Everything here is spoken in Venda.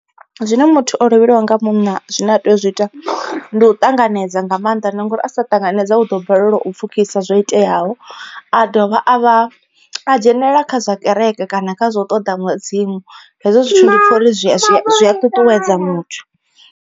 Zwine muthu o lovheliwa nga munna zwine a tea u zwi ita ndi u ṱanganedza nga maanḓa na nga uri a sa ṱanganedza u ḓo balelwa u pfukhisa zwo iteaho, a dovha a vha a dzhenelela kha zwa kereke kana kha zwa u ṱoḓa mudzimu hezwo zwithu ndi pfha uri zwi zwi a ṱuṱuwedza muthu.